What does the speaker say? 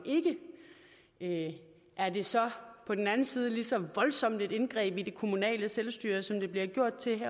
ikke er det så på den anden side lige så voldsomt et indgreb i det kommunale selvstyre som det bliver gjort til